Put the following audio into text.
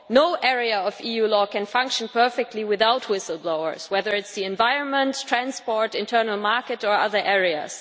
No area of EU law can function perfectly without whistle blowers, whether it is the environment, transport, the internal market or other areas.